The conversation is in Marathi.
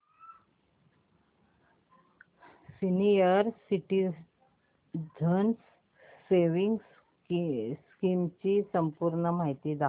सीनियर सिटिझन्स सेविंग्स स्कीम ची संपूर्ण माहिती दाखव